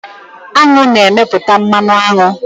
Aṅụ na-emepụta mmanụ aṅụ